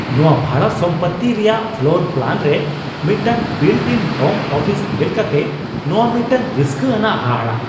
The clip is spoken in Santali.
ᱱᱚᱶᱟ ᱵᱷᱟᱲᱟ ᱥᱚᱢᱯᱚᱛᱛᱤ ᱨᱮᱭᱟᱜ ᱯᱷᱞᱳᱨ ᱯᱞᱟᱱ ᱨᱮ ᱢᱤᱫᱴᱟᱝ ᱵᱤᱞᱴᱼᱤᱱ ᱦᱳᱢ ᱚᱯᱷᱤᱥ ᱧᱮᱞ ᱠᱟᱛᱮ ᱱᱚᱶᱟ ᱢᱤᱫᱴᱟᱝ ᱨᱟᱹᱥᱠᱟᱹ ᱟᱱᱟᱜ ᱦᱟᱦᱟᱲᱟᱜ ᱾